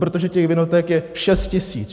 Protože těch vinoték je šest tisíc.